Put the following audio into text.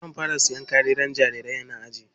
Zan fara siyan kayan jarirai na ajiye.